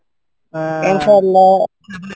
ইনশাআল্লাহ